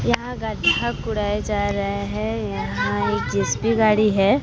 यहां गड्ढा कोड़ाये जा रहा है यहां एक जे_सी_बी गाड़ी है।